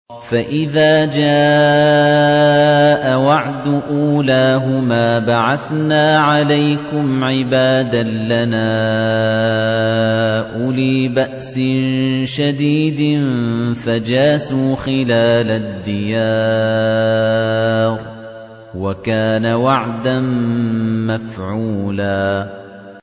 فَإِذَا جَاءَ وَعْدُ أُولَاهُمَا بَعَثْنَا عَلَيْكُمْ عِبَادًا لَّنَا أُولِي بَأْسٍ شَدِيدٍ فَجَاسُوا خِلَالَ الدِّيَارِ ۚ وَكَانَ وَعْدًا مَّفْعُولًا